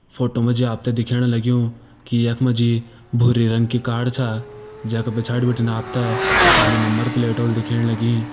Photo मा जी आप ते दिखेण लग्युं की यख मा जी भूरी रंग की कार छा जै का पिछाड़ी बिटिन आप ते खाली नंबर प्लेट होली दिखेण लगीं।